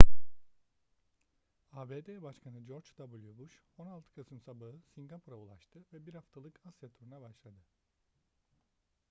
abd başkanı george w bush 16 kasım sabahı singapur'a ulaştı ve bir haftalık asya turuna başladı